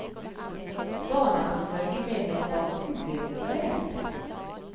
Barna kan følge med når bamsen blir operert.